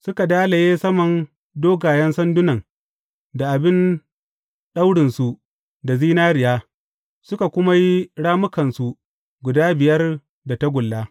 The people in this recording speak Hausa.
Suka dalaye saman dogayen sandunan da abin daurinsu da zinariya, suka kuma yi rammukansu guda biyar da tagulla.